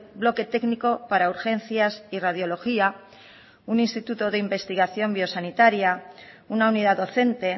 bloque técnico para urgencias y radiología un instituto de investigación biosanitaria una unidad docente